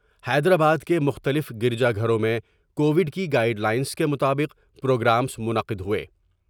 حیدرآباد کے مختلف گر جا گھروں میں کوڈ کی گائیڈ لائنس کے مطابق پروگرامس منعقد ہوۓ ۔